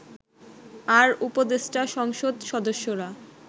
আর উপদেষ্টা সংসদ সদস্যরা